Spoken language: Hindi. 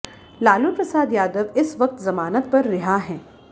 लालू प्रसाद यादव इस वक्त जमानत पर रिहा हैं